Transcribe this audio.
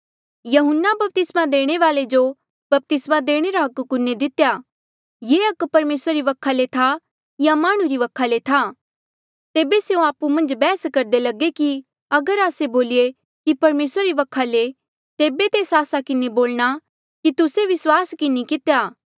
यहून्ना बपतिस्मा देणे वाल्ऐ जो बपतिस्मा देणे रा हक कुने दितेया ये हक परमेसरा री वखा ले था या माह्णुं वखा ले था तेबे स्यों आपु मन्झ बैहस करदे लगे कि अगर आस्से बोलिए कि परमेसरा री वखा ले तेबे तेस आस्सा किन्हें बोलणा कि तुस्से विस्वास कि नी कितेया